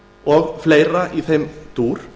og fleira í þeim dúr